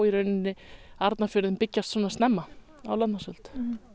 Arnarfjörðinn byggjast svona snemma á landnámsöld